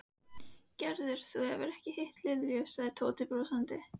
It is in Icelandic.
Gerður, þú hefur ekki hitt Linju sagði Tóti brosandi.